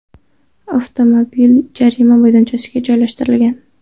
Avtomobil jarima maydonchasiga joylashtirilgan.